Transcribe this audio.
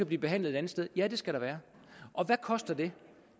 blive behandlet et andet sted ja det skal der være og hvad koster det